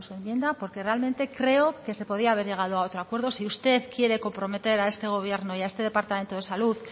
enmiendas porque realmente creo que se podía haber llegado a otro acuerdo si usted quiere comprometer a este gobierno y a este departamento de salud